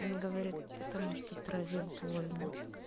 и он говорит потому что траве потому что больно